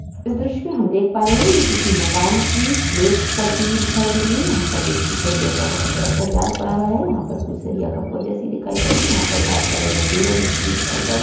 इस दृश्य में हम देख पा रहे है ये किसी मकान की स्लॅप पडती हुई दिखाई दे रही है यहाँ पर देखिये सरिया का बहुत बड़ा सा जाल पड़ा हुआ है यहाँ पर कुछ सरिया खम्बो जैसी दिखाई पड़ी है यहाँ पर बहुत सारे मजदूर और मिस्त्री दिखाई पड़े --